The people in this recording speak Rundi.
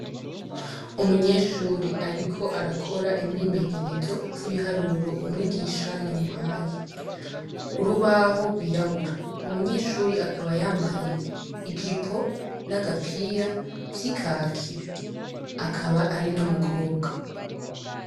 Umunyeshuri, ariko arakora emimenyerezo tibiharuro umwigisha yamuhahe kuri ubaho rwirabura umunyeshuri akaba yambaye ejipo n'agapira vy'i kahki akaba ari no mukobwa.